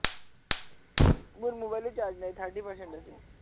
মোৰ মবাইলটো charge নাই thirty percent আছে